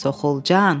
Soğulcan.